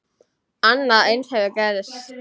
Annað eins hefur gerst.